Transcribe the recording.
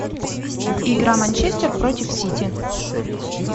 игра манчестер против сити